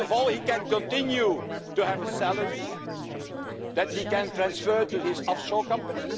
First of all, he can continue to have a salary that he can transfer to his offshore company.